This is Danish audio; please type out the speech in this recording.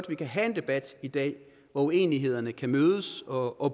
vi kan have en debat i dag hvor uenighederne kan mødes og